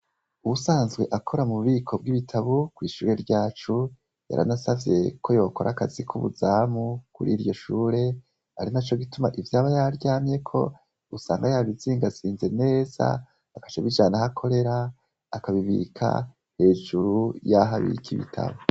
Uwusanzwe akora mu bubiko bw'ibitabu, kw' ishure ryacu , yaranasavye ko yokora akazi k' ubuzamu, kuriryo Shure, arinaco gituma ivyaba yaryamyeko, usanga yabizingazinze neza, agaca abijana aho akorera , akabibika hejuru yaho abika ibitabu.